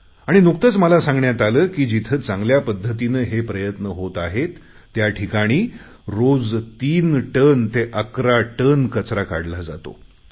आणि नुकतेच मला सांगण्यात आले की जिथे चांगल्या पद्धतीने हे प्रयत्न होत आहेत त्याठिकाणी रोज तीन टन ते अकरा टन कचरा काढला जातो